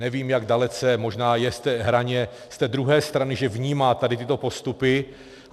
Nevím, jak dalece, možná je v té hraně, z té druhé strany, že vnímá tady tyto postupy.